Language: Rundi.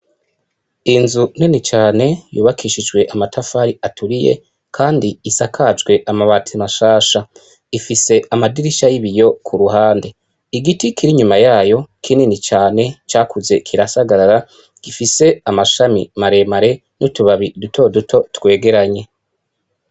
Inzu nini cane yubakishijwe amatafari aturiye Kandi isakajwe amabati mashasha, ifise amadirisha y'ibiyo ku ruhande , igiti kiri inyuma yayo kinini cane cakuze kirasagarara gifise amashami maremare n'utubabi duto duto twegeranye .